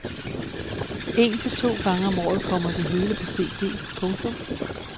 En til to gange om året kommer det hele på cd. punktum